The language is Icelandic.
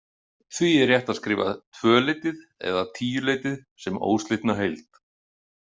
Því er rétt að skrifa „tvöleytið“ eða „tíuleytið“ sem óslitna heild.